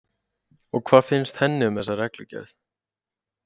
Og hvað finnst henni um þessa reglugerð?